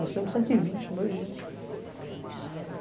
Nós fizemos cento e vinte em dois dias.